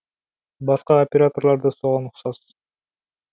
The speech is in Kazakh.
басқа операторлар да соған ұқсас